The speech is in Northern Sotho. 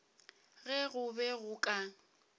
ge go be go ka